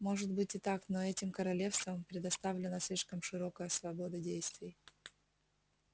может быть и так но этим королевствам предоставлена слишком широкая свобода действий